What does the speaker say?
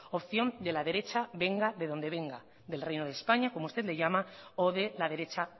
opción de la derecha venga de donde venga del reino de españa como usted le llama o de la derecha